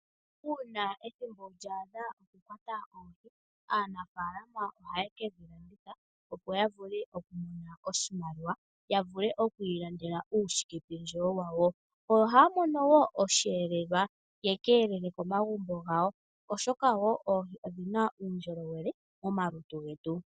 Uuna ethimbo lyokukwata oohi lya adha, aanaafalama ohaye ke dhi landitha, opo ya vule okumona oshimaliwa ya vule oku ilandela uushikependjewo wawo. Ohaya mono mo wo osheelelwa ya ka elele komagumbo gawo, oshoka oohi odhi na uundjolowele momalutu getu.